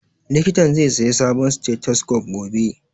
Likitan zai saya sabon stethoscope gobe